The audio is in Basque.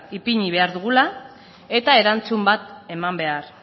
ipini behar dugula eta erantzun bat eman behar